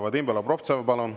Vadim Belobrovtsev, palun!